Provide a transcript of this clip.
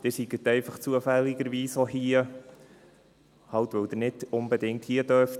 Sie sind einfach zufällig auch hier, halt, weil Sie nicht unbedingt hier sein dürfen.